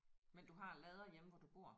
Men du har lader hjemme hvor du bor?